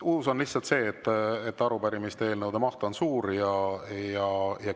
Uus on lihtsalt see, et arupärimiste ja eelnõude maht on suur.